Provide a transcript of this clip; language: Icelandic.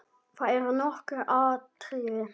Það eru nokkur atriði.